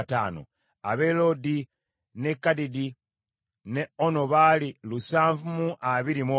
ab’e Loodi, n’e Kadidi ne Ono baali lusanvu mu abiri mu omu (721),